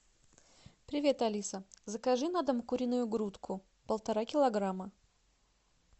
привет алиса закажи на дом куриную грудку полтора килограмма